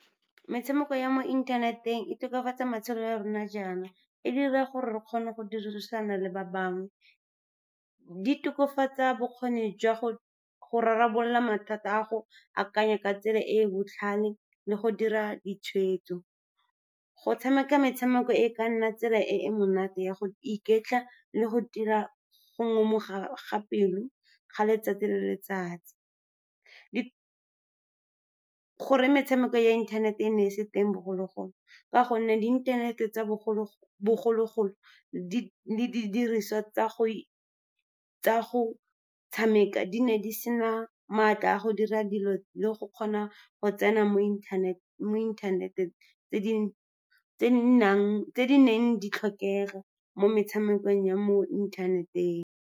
Metshameko ya mo inthaneteng e tokafatsa matshelo a rona jaana, e dira gore re kgone go dirisana le ba bangwe. Di tokafatsa bokgoni jwa go rarabolola mathata, go akanya ka tsela e e botlhale le go dira ditshwetso. Go tshameka metshameko e ka nna tsela e e monate ya go iketla le go tila go ngomoga pelo ga letsatsi le letsatsi. Goreng metshameko ya inthanete e ne e se teng bogologolo? Ka gonne di inthanete tsa bogologolo, le di didiriswa tsa go tshameka di ne di sena matla a go dira dilo le go kgona go tsena mo inthaneteng, tse di neng di tlhokega mo metshamekong ya mo inthaneteng.